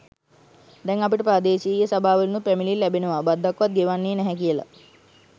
දැන් අපිට ප්‍රාදේශීය සභාවලිනුත් පැමිණිලි ලැබෙනවා බද්දක්වත් ගෙවන්නේ නැහැ කියලා.